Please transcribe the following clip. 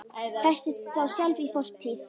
Festist þá sjálf í fortíð.